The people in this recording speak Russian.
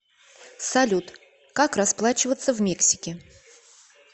салют как расплачиваться в мексике